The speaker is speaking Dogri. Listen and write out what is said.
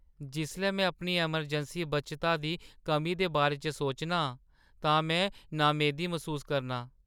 जिसलै में अपनी अमरजैंसी बचता दी कमी दे बारे च सोचना आं तां में नामेदी मसूस करनां।